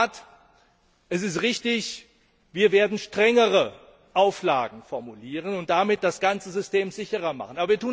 Ja, in der Tat, es ist richtig Wir werden strengere Auflagen formulieren und damit das ganze System sicherer machen.